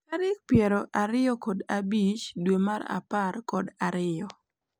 Tarik pier ariyo kod abich dwe mar apar kod ariyo.